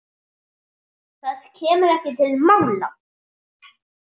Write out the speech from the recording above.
Það kemur ekki til mála.